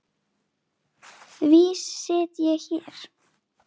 Því sit ég hér.